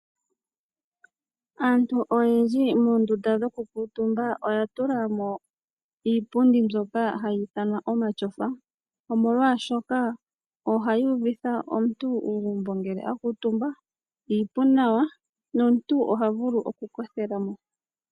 Aantu oyendji moondunda dhokukuuntumba oya tulamo iipundi mbyoka hayi ithanwa omatyofa, molwashooka ohayi uvitha omuntu uugumbo ngele a kuuntumba, iipu nawa, nomuntu oha vulu okukothela mo.